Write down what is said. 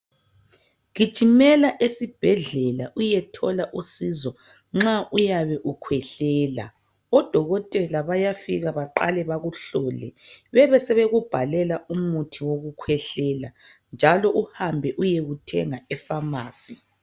Gijimela esibhedlela uyethola usizo nxa uyabe ukhwehlela odokotela bayafika baqale bakuhlole bebesebeku bhalela umuthi wokukhwehlela njalo uhambe uyewuthenga efamasi.